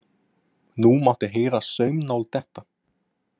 Nú mátti heyra saumnál detta.